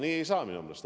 Nii ei saa minu meelest.